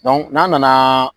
n'a nana